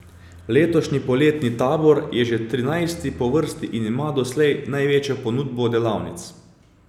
Letošnji poletni tabor je že trinajsti po vrsti in ima doslej največjo ponudbo delavnic.